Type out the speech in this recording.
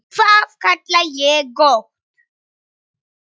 Það kalla ég gott.